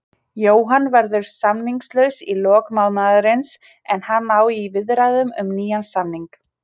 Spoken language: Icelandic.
Jóhann verður samningslaus í lok mánaðarins en hann á í viðræðum um nýjan samning.